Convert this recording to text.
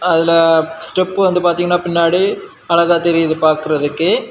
அதுல ஸ்டெப் வந்து பாதிங்கனா பின்னாடி அழகா தெரியுது பாக்குறதுக்கு.